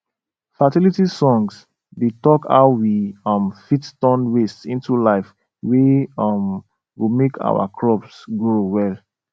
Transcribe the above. fertility songs dey talk how we um fit turn waste into life wey um go make our crops grow well